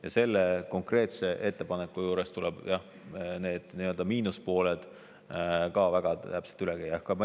Ja selle konkreetse ettepaneku juures tuleb miinuspooled samuti väga täpselt üle käia.